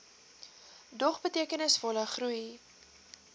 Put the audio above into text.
dog betekenisvolle groei